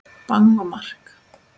Bang og mark!